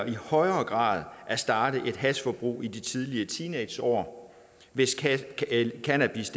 i højere grad at starte et hashforbrug i de tidlige teenageår hvis cannabis